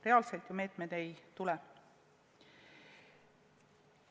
Reaalselt ju meetmeid ei tule.